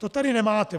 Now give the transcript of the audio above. To tady nemáte.